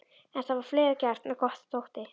En það var fleira gert en gott þótti.